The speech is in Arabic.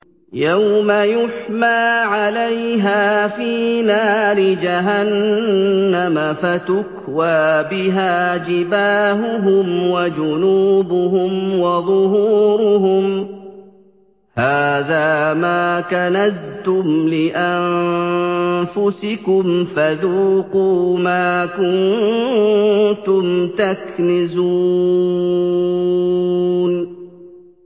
يَوْمَ يُحْمَىٰ عَلَيْهَا فِي نَارِ جَهَنَّمَ فَتُكْوَىٰ بِهَا جِبَاهُهُمْ وَجُنُوبُهُمْ وَظُهُورُهُمْ ۖ هَٰذَا مَا كَنَزْتُمْ لِأَنفُسِكُمْ فَذُوقُوا مَا كُنتُمْ تَكْنِزُونَ